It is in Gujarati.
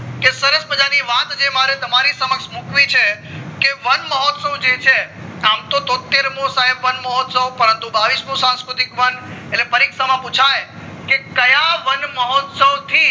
કે સરસ મજા ની વાત જે મારે તમારી શમક્ષ મુકવી છે કે વનમહોત્સવ જે છે તો આમ તોત્તેર મો સાહેબ વનમહોત્સવ પરંતુ બાવીશ મો સંસ્કૃતિક વન એટલે પરીક્ષા માં પુછાય કે ક્યાં વન મહોત્સવ થી